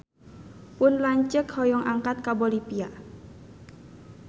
Pun lanceuk hoyong angkat ka Bolivia